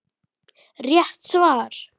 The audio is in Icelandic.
Rétt svar!